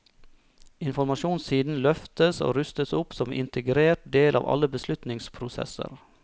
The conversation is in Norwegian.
Informasjonssiden løftes og rustes opp som integrert del av alle beslutningsprosesser.